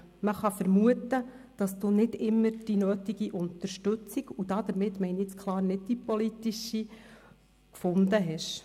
Man kann vermuten, dass Sie nicht immer die nötige Unterstützung – und damit meine ich jetzt ausdrücklich nicht die politische – gefunden haben.